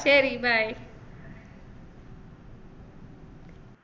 ശെരി bye